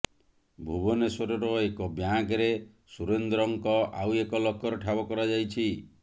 ଭୁବନେଶ୍ୱରର ଏକ ବ୍ୟାଙ୍କରେ ସୁରେନ୍ଦ୍ରଙ୍କ ଆଉ ଏକ ଲକର ଠାବ କରାଯାଇଛି